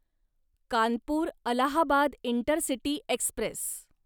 Kanpur Allahabad intercity Express